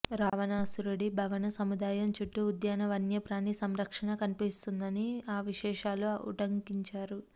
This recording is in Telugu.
రావణాసురుడి భవన సముదాయం చుట్టూ ఉద్యాన వన్యప్రాణి సంరక్షణ కన్పిస్తుందని ఆ విశేషాలూ ఉటంకించారు